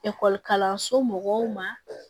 kalanso mɔgɔw ma